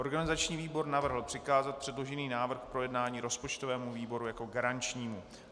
Organizační výbor navrhl přikázat předložený návrh k projednání rozpočtovému výboru jako garančnímu.